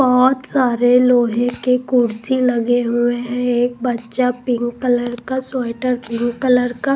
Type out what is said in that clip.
बहुत सारे लोहे के कुर्सी लगे हुए हैं एक बच्चा पिंक कलर का स्वेटर पिंक कलर का--